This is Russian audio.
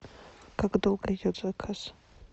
как долго идет заказ